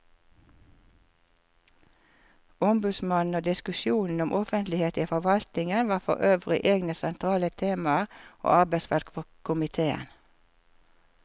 Ombudsmannen og diskusjonen om offentlighet i forvaltningen var forøvrig egne sentrale temaer og arbeidsfelt for komiteen.